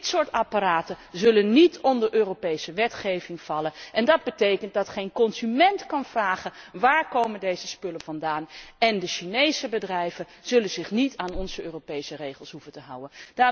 Dit soort apparaten zal niet onder Europese wetgeving vallen en dat betekent dat geen consument kan vragen waar komen deze spullen vandaan? En de Chinese bedrijven zullen zich niet aan onze Europese regels hoeven te houden.